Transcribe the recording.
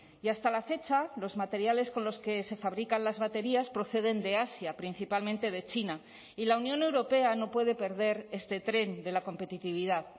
y hasta la fecha los materiales con los que se fabrican las baterías proceden de asia principalmente de china y la unión europea no puede perder este tren de la competitividad